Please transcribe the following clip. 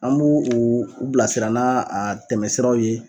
An b'u u u bilasira n'a a tɛmɛsiraw ye